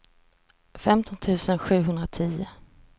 femton tusen sjuhundratio